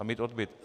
A mít odbyt.